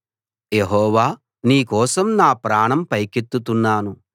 యెహోవా నీ కోసం నా ప్రాణం పైకెత్తుతున్నాను